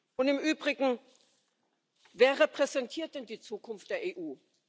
Und im Übrigen, wer repräsentiert denn die Zukunft der EU?